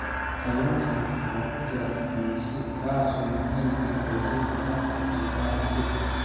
Kalluunka waxaa ku jira fitamiin C, kaas oo muhiim u ah xoojinta habka difaaca jirka.